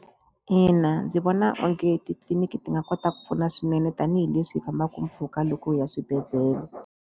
Ina ndzi vona onge titliliniki ti nga kota ku pfuna swinene tanihileswi hi fambaku mpfhuka loko hi ya swibedhlele.